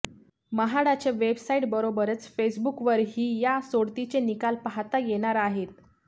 म्हाडाच्या वेबसाइटबरोबरच फेसबुकवरही या सोडतीचे निकाल पाहता येणार आहेत